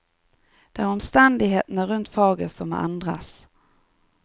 Det er omstendighetene rundt faget som må endres.